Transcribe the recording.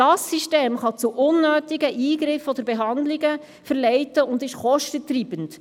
Dieses System kann zu unnötigen Eingriffen oder Behandlungen führen und ist kostentreibend.